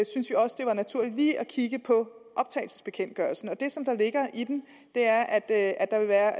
synes også det var naturligt lige at kigge på optagelsesbekendtgørelsen det som ligger i den er at at der vil være